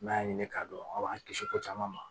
N'a y'a ɲini k'a dɔn an b'an kisi ko caman ma